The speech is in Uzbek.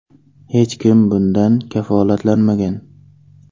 Hech kim bundan kafolatlanmagan.